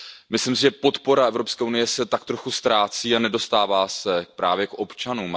Myslím si, že podpora Evropské unie se tak trochu ztrácí a nedostává se právě k občanům.